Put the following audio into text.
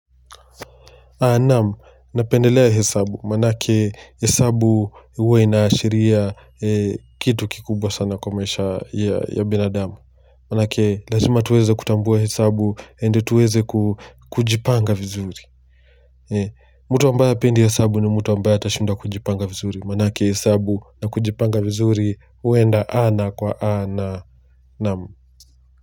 Naam, napendelea hesabu, maanake hesabu huwa inaashiria kitu kikubwa sana kwa maisha ya binadamu Maanake lazima tuweze kutambua hesabu, and tuweze kujipanga vizuri mtu ambaye hapendi hesabu ni mtu ambaye atashindwa kujipanga vizuri Maanake hesabu na kujipanga vizuri, huenda ana kwa ana, naam.